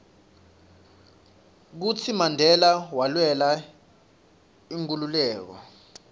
kutsi mandela walwela inkhululeko